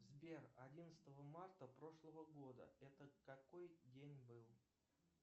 сбер одиннадцатого марта прошлого года это какой день был